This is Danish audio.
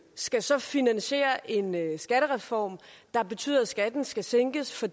skal så finansiere en skattereform der betyder at skatten skal sænkes for